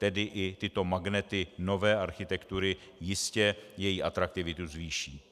Tedy i tyto magnety nové architektury jistě její atraktivitu zvýší.